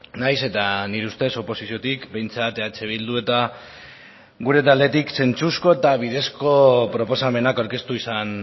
nahiz eta nire ustez oposiziotik behintzat eh bildu eta gure taldetik zentzuzko eta bidezko proposamenak aurkeztu izan